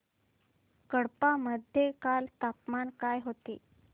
कडप्पा मध्ये काल तापमान काय होते